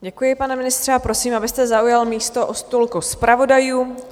Děkuji, pane ministře, a prosím, abyste zaujal místo u stolku zpravodajů.